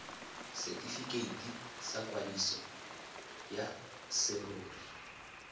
setifikeiti sa kwadiso ya serori